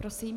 Prosím.